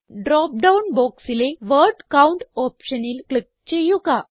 drop down ബോക്സിലെ word count ഓപ്ഷനിൽ click ചെയ്യുക